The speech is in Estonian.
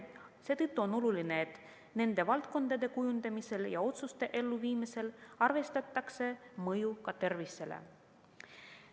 Seetõttu on oluline, et nende valdkondade kujundamisel ja otsuste elluviimisel arvestataks mõju ka tervisele.